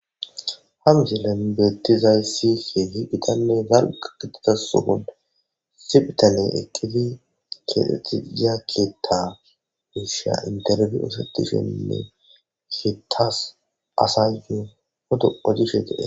Hamisillen beettizaysihe higitanne zalqa gitizasuhu sipitale eqqidi keexxetti zakkeetta miisha interbi usatishenne heetas asayu hudu ojishe dee.